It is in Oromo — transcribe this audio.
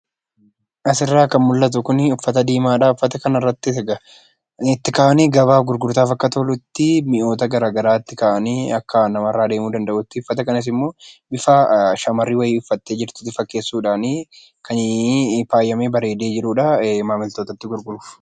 Asirraa kan mul'atu kun uffata diimaadha. Bakka kanattis egaa gabaa gurgurtaaf akka tolutti mi'oota garaatti kaa'anii akka namarraa deemuu danda'utti bifa shamarri wayii uffattee jirtu fakkeessuudhan kan faayamee bareedee jirudha maamiltootatti gurguruuf.